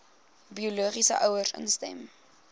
biologiese ouers instem